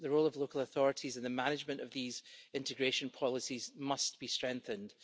The role of local authorities in the management of these integration policies must be strengthened.